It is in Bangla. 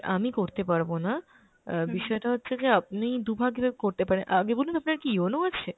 আমি করতে পারবো না, অ্যাঁ বিষয়টা হচ্ছে যে আপনি দু'ভাবে করতে পারেন, আগে বলুন আপনার কি yono আছে?